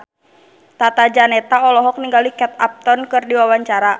Tata Janeta olohok ningali Kate Upton keur diwawancara